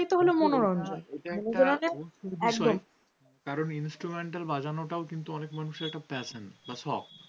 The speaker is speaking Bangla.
কারণ instrumental বাজানো টাও কিন্তু অনেক মানুষের এক ধরনের fashion বা শখ।